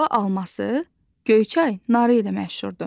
Quba alması Göyçay narı ilə məşhurdur.